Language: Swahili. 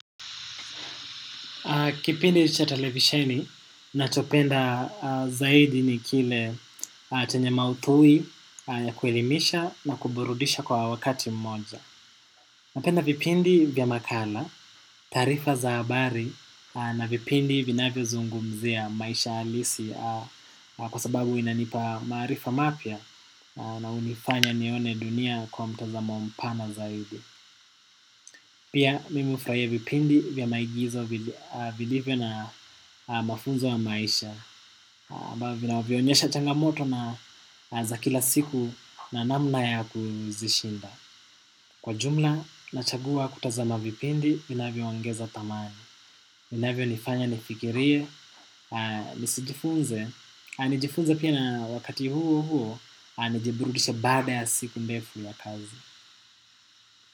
Kipindi cha televisheni, nachopenda zaidi ni kile chenye maudhui ya kuelimisha na kuburudisha kwa wakati mmoja. Napenda vipindi vya makala, taarifa za habari na vipindi vinavyo zungumzia maisha halisi kwasababu inanipa maarifa mapya na unifanya nione dunia kwa mtazamo mpana zaidi. Pia mimi hufuraia vipindi vya maigizo vilivyo na mafunzo ya maisha ambavyo vina vyonyesha changamoto na za kila siku na namna ya kuzishinda. Kwa jumla nachagua kutazama vipindi vinavyongeza thamani vinavyonifanya nifikiria nisijifunze. Nijmeifunze pia na wakati huo huo nijiburudisha baada ya siku mdefu ya kazi.